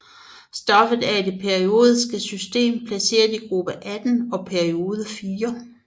Stoffet er i det periodiske system placeret i gruppe 18 og periode 4